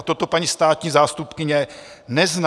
A toto paní státní zástupkyně nezná.